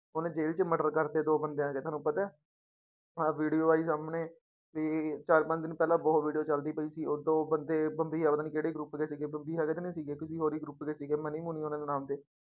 ਉਹਨੇ ਜੇਲ ਚ murder ਕਰ ਦਿੱਤੇ ਦੋ ਬੰਦਿਆਂ ਦੇ ਤੁਹਾਨੂੰ ਪਤਾ ਹੈ ਆਹ video ਆਈ ਸਾਹਮਣੇ ਵੀ ਚਾਰ ਪੰਜ ਦਿਨ ਪਹਿਲਾਂ ਬਹੁਤ video ਚੱਲਦੀ ਪਈ ਸੀ ਉਹ ਦੋ ਬੰਦੇ ਬੰਬੀਹਾ ਪਤਾ ਨੀ ਕਿਹੜੇ group ਦੇ ਸੀਗੇ ਬੰਬੀਹਾ ਦੇ ਤੀ ਨੀ ਸੀਗੇ ਕਿਸੇ ਹੋਰ ਹੀ group ਦੇ ਸੀਗੇ ਮਨੀ ਹੋਣੀ ਦੇ ਨਾਮ ਤੇ